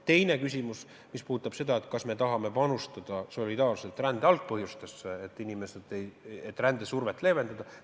Teine küsimus on, kas me tahame panustada solidaarselt rände algpõhjuste, rändesurve leevendamisse.